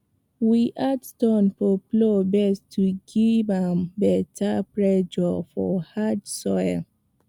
we add stone for plow base to give am better pressure for hard soil